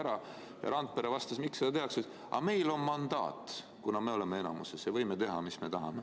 Randpere vastas küsimusele, miks seda tehakse, et aga meil on mandaat, me oleme enamuses ja võime teha, mis me tahame.